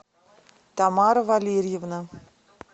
тамара валерьевна